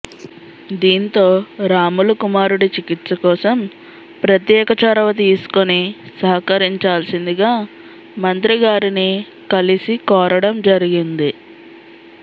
దీంతో రాములు కుమారుడి చికిత్స కోసం ప్రత్యేక చొరవ తీసుకుని సహకరించాల్సిందిగా మంత్రి గారిని కలిసి కోరడం జరిగింది